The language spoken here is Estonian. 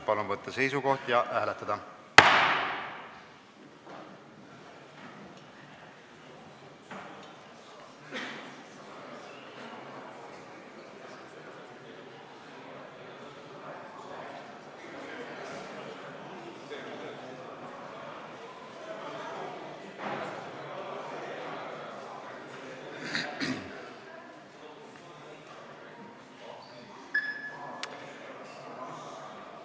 Palun võtta seisukoht ja hääletada!